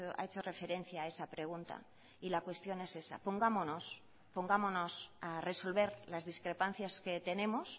ha hecho referencia a esa pregunta y la cuestión es esa pongámonos pongámonos a resolver las discrepancias que tenemos